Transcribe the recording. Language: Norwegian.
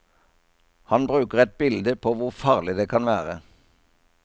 Han bruker et bilde på hvor farlig det kan være.